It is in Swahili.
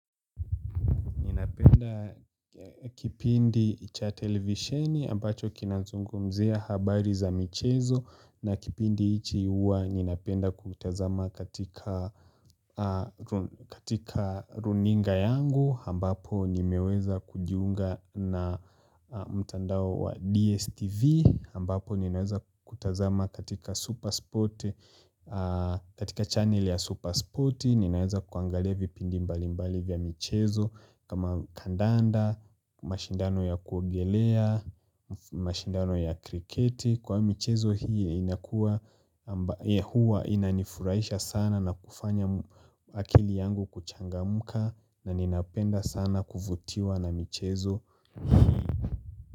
Kipindi cha televisioni ambacho kinazungumzia habari za michezo na kipindi ichi huwa nina penda kukitazama katika runinga yangu ambapo nimeweza kujiunga na mtandao wa DSTV ambapo ninaweza kutazama katika channel ya Supersporti ninaweza kuangalia vipindi mbalimbali vya michezo kama kandanda, mashindano ya kuogelea, mashindano ya kriketi Kwa michezo hii inanifuraisha sana na kufanya akili yangu kuchangamka na ninapenda sana kuvutiwa na michezo hii.